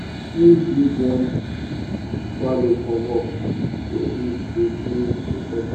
we da sing give worm twale for work wey e da do inside ground